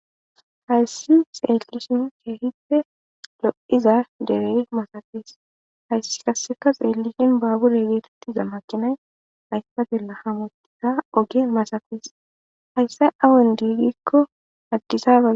hayssi xeelusin keehite lo7iza dere masafis hayssi kasseka xeellishin baabure geetetiza makinay haysta gela hamottiza oge masafis hayssay awun diigikko addisaa